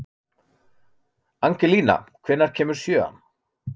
Angelína, hvenær kemur sjöan?